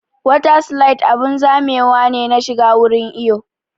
Wata slide abun zamewa ne na shiga wurin iwo